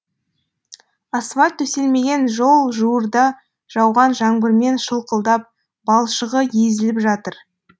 асфальт төселмеген жол жуырда жауған жаңбырмен шылқылдап балшығы езіліп жатыр